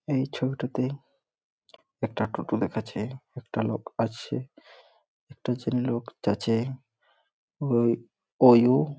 এই ছবিটাতে একটা টোটো দেখাচ্ছে। একটা লোক আসছে। একটা ছে লোক যাছে ওই ওই ও--